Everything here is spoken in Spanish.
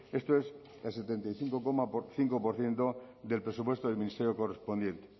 esto es el setenta y cinco coma cinco por ciento del presupuesto del ministerio correspondiente